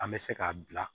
An bɛ se k'a bila